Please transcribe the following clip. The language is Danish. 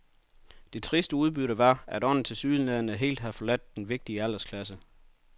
Det triste udbytte var, at ånden tilsyneladende helt har forladt denne vigtige aldersklasse.